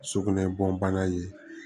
Sugunɛ bɔn bana ye